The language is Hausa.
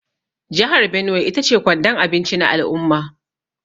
Jihar Benue ita ce kwandon abinci na al’umma.